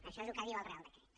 això és el que diu el reial decret